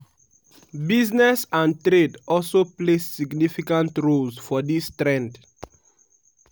business and trade also play significant roles for dis trend.